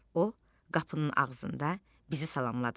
O qapının ağzında bizi salamladı.